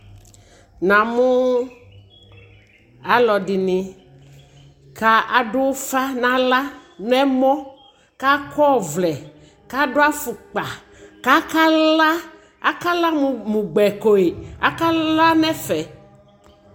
namʋʋ alʋɛɖini kaɖʋƒa nala nɛmɔ kakɔvlɛ kaɖʋ aƒʋkpa kakala akala mʋ gbɛkoe akala nɛƒɛ